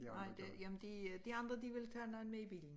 Nej det jamen det øh de andre de ville tage noget med i bilen